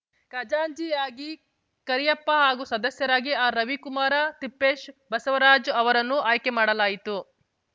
ಖಜಾಂಚಿಯಾಗಿ ಕರಿಯಪ್ಪ ಹಾಗೂ ಸದಸ್ಯರಾಗಿ ಆರ್‌ ರವಿಕುಮಾರ ತಿಪ್ಪೇಶ್‌ ಬಸವರಾಜು ಅವರನ್ನು ಆಯ್ಕೆ ಮಾಡಲಾಯಿತು